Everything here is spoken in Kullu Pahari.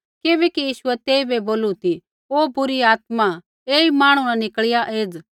किबैकि यीशुऐ तेइबै बोलू ती हो बुरी आत्मा ऐई मांहणु न निकल़िया एज़